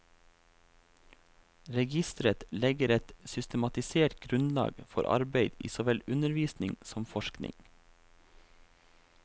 Registeret legger et systematisert grunnlag for arbeid i såvel undervisning som forskning.